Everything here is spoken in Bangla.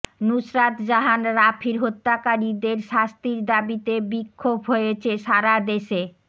নুসরাত জাহান রাফির হত্যাকারীদের শাস্তির দাবিতে বিক্ষোভ হয়েছে সারা দেশে